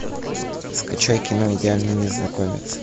скачай кино идеальный незнакомец